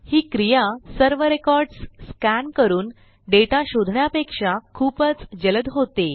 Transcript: ही क्रिया सर्व records scan करून डेटा शोधण्यापेक्षा खूपच जलद होते